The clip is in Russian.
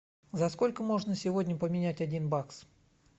за сколько можно сегодня поменять один бакс